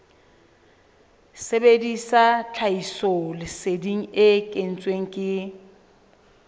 sebedisa tlhahisoleseding e kentsweng ke